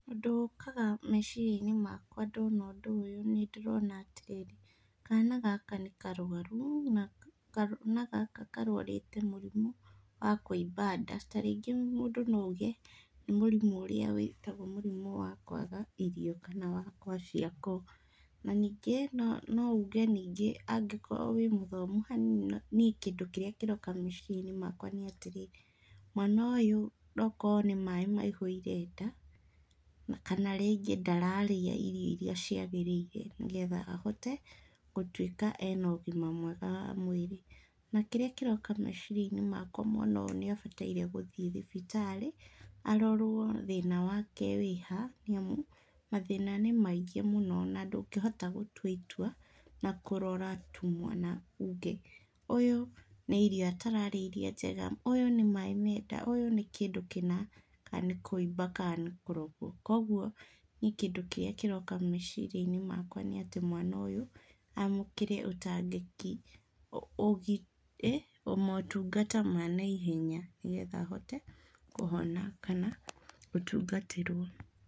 Ũndũ ũkaga meciria-inĩ makwa ndona ũndũ ũyũ nĩ ndĩrona atĩrĩrĩ kana gaka nĩ karwaru na kana gaka karwarĩte mũrimũ wa kũimba nda. Tarĩngĩ mũndũ no auge nĩ mũrimũ ũria wĩtagwo wa kwaga irio kana wa kwaciakoo, na ningĩ no uge ningĩ angĩkorwo wĩ mũthomu hanini, niĩ kĩndũ kĩrĩa kĩroka meciria-inĩ makwa nĩ atĩrĩrĩ, mwana ũyũ no okorwo nĩ maĩ maihũire nda kana akorwo ndararĩa irio iria ciagĩrĩire nĩgetha ahote gũkorwo ena ũgima mwega wa mwĩrĩ, na kĩrĩa kĩroka meciria-inĩ makwa mwana ũyũ nĩ abatiĩ gũthiĩ thibitarĩ arorwo thĩna wake wĩha nĩamu mathĩna nĩ maingĩ mũno na ndũngĩhota gũtua itua na kũrora tu na uge, ũyũ nĩirio atarĩa njega, ũyũ nĩ maĩ menda, ũyũ nĩkĩndũ kĩna, kana nĩ kũimba kana nĩ kũrogwo, kũoguo niĩ kĩndũ kĩrĩa kĩroka meciria-inĩ makwa nĩ atĩ mwana ũyũ amũkĩre motungata ma naihenya nĩ getha ahote kũhona kana gũtungatĩrwo.